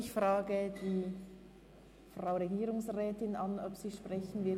Ich frage die Regierungsrätin, ob sie dazu sprechen will.